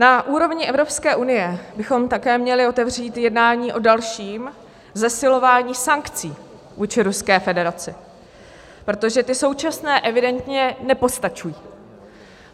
Na úrovni Evropské unie bychom také měli otevřít jednání o dalším zesilování sankcí vůči Ruské federaci, protože ty současné evidentně nepostačují.